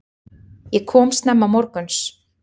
Ég kom snemma morguns.